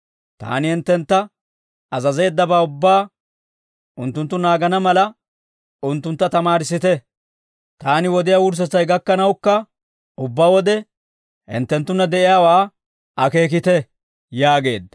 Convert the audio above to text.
Taani hinttentta azazeeddabaa ubbaa unttunttu naagana mala, unttuntta tamaarissite; taani wodiyaa wurssetsay gakkanawukka ubbaa wode hinttenttunna de'iyaawaa akeekite» yaageedda.